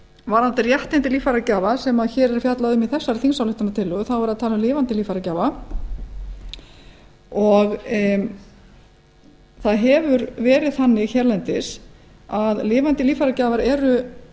varðandi réttindi líffæragjafa sem hér er fjallað um í þessari þingsályktunartillögu er verið að tala um lifandi líffæragjafa það hefur verið þannig hérlendis að lifandi líffæragjafar er